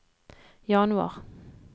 januar